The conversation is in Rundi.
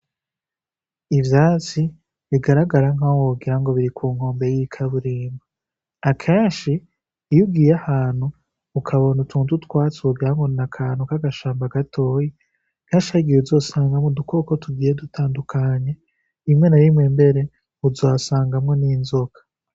Ivyatsi bigaragara nk'aho wogira ngo biri ku nkombe y'ikaburimba akenshi iyugiye ahantu ukabona utuntu twatsugira ngona akantu k'agashamba gatoyi nkashagiye wuzosangamwu dukoko tugiye dutandukanya imwe na bimwe mbere uzasangamwo n'inzoka.